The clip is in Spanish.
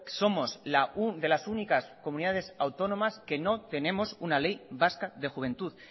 somos de las únicas comunidades autónomas que no tenemos una ley vasca de juventud